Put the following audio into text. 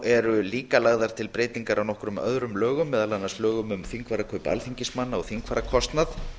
eru líka lagðar til breytingar á nokkrum öðrum lögum meðal annars lögum um þingfararkaup alþingismanna og þingfararkostnað